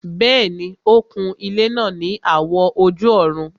Bẹ́ẹ̀ni, ó kun ilẹ́ náà ní àwọ̀ ojú-ọ̀run